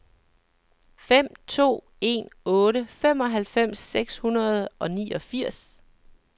fem to en otte femoghalvfems seks hundrede og niogfirs